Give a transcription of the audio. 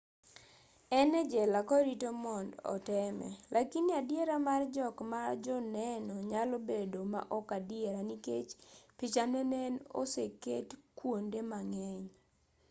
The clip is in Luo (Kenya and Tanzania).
en e jela korito mond oteme lakini adiera mar jok ma joneno nyalo bedo ma ok adiera nikech pichane ne en oseket kuonde mang'eny